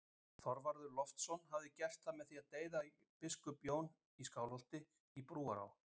Þorvarður Loftsson hafi gert það með því að deyða biskup Jón í Skálholti í Brúará